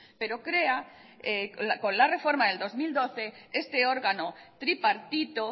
pero crea con la reforma del dos mil doce este órgano tripartito